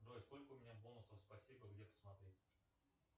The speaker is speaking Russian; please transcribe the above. джой сколько у меня бонусов спасибо где посмотреть